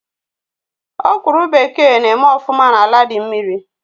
Ọ̀kwụ́rụ́ bekee na eme ọfụma n'ala dị mmiri